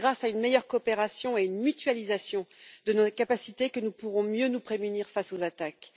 C'est grâce à une meilleure coopération et à une mutualisation de nos capacités que nous pourrons mieux nous prémunir face aux attaques.